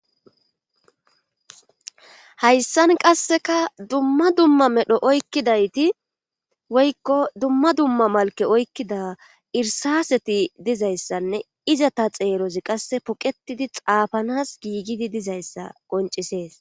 hayssan qasseka dumma dumma medho oykkidayti woykko dumma dumma malke oykkida irsaseti dizayssanne iza ta xeerozi qasse poqetidi xaafanas giigidi dizayssa qoncisees